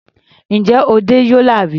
Ǹjẹ́ o dẹ́ Yola rí?